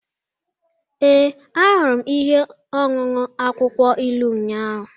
Ee, ahụrụ m ihe ọṅụṅụ akwụkwọ ilu ụnyahụ